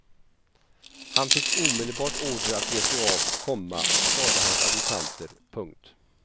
Han fick omedelbart order att ge sig av, komma sade hans adjutanter. punkt